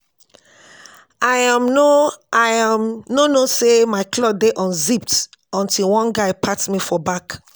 I um no I um no know say my cloth dey unzipped until one guy pat me for back